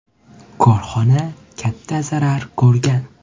Korxona katta zarar ko‘rgan.